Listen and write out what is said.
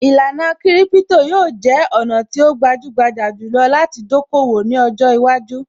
Īlànà kiripito yóò jẹ́ ọ̀nà tí ó gbajúgbajà jù lọ láti dókòwò ní ọjọ́ iwájú